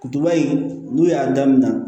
Kutuba in n'u y'a daminɛ